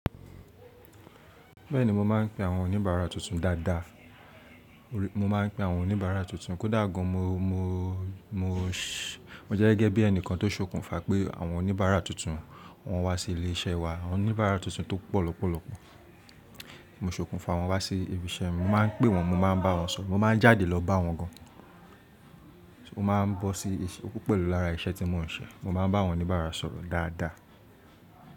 Bẹ́ẹ̀ni, mo máa ń pe àwọn oníbàárà tuntun dáadáa. Mo máa ń pe àwọn oníbàárà tuntun. Kódà gan, mo, mo, mo jẹ́ gẹ́gẹ́ bí ẹnìkan tó ṣokùnfà pé àwọn oníbàárà tuntun wọ́n wá sí ilé-iṣẹ́ wa. Àwọn oníbàárà tuntun tó pọ̀ lọ́pọ̀lọpọ̀, mo ṣokùnfà wọ́n wá sí ibi iṣẹ́. Mo máa ń pé wọ́n, mo máa ń bá wọn sọ̀rọ̀, mo máa ń jáde lọ bá wọn gan. Mo máa ń bọ́ sí, ó pẹ̀lú lára iṣẹ́ tí mo ń ṣe. Mo máa ń bá àwọn oníbàárà sọ̀rọ̀ dáadáa.